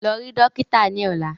Lọ rí dókítà ni ọ̀la!